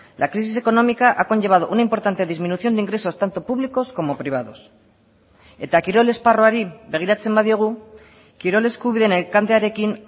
la crisis económica ha conllevado una importante disminución de ingresos tanto públicos como privados eta kirol esparruari begiratzen badiogu kirol eskubideen elkartearekin